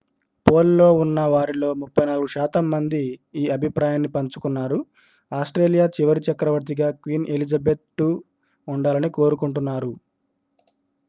pole లో ఉన్న వారిలో 34 శాతం మంది ఈ అభిప్రాయాన్ని పంచుకున్నారు ఆస్ట్రేలియా చివరి చక్రవర్తిగా క్వీన్ ఎలిజబెత్ ii ఉండాలని కోరుకుంటున్నారు